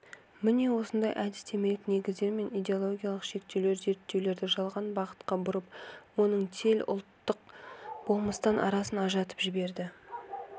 міне осындай әдістемелік негіздер мен идеологиялық шектеулер зерттеулерді жалған бағытқа бұрып оның төл ұлттық болмыстан арасын ажыратып жіберді